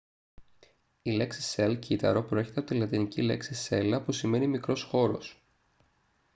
η λέξη cell κύτταρο προέρχεται από τη λατινική λέξη cella που σημαίνει μικρός χώρος